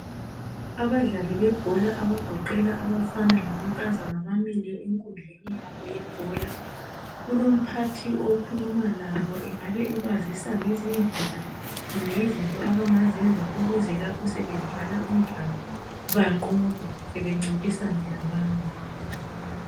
Abadlali bebhola, abagoqela abafana lamankazana, bamile enkundleni yabo yebhola. Kulomphathi okhuluma labo. Engabe ebazisa ngezindlela, kumbe izinto abangazenza, ukuze lapho, sebedlala umdlalo banqobe. Sebencintisana labanye.